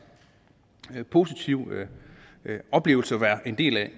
positiv oplevelse at være en del af